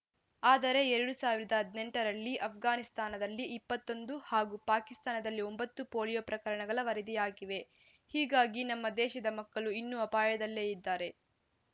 ಆದರೆ ಎರಡ್ ಸಾವಿರದ ಹದಿನೆಂಟ ರಲ್ಲಿ ಆಷ್ಘಾನಿಸ್ತಾನದಲ್ಲಿ ಇಪ್ಪತ್ತೊಂದು ಹಾಗೂ ಪಾಕಿಸ್ತಾನದಲ್ಲಿ ಒಂಬತ್ತು ಪೋಲಿಯೋ ಪ್ರಕರಣಗಳು ವರದಿಯಾಗಿವೆ ಹೀಗಾಗಿ ನಮ್ಮ ದೇಶದ ಮಕ್ಕಳು ಇನ್ನೂ ಅಪಾಯದಲ್ಲೇ ಇದ್ದಾರೆ